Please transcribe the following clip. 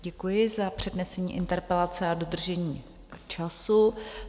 Děkuji za přednesení interpelace a dodržení času.